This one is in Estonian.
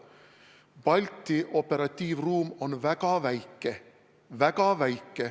Balti operatiivruum on väga väike.